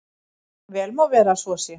Vel má vera að svo sé.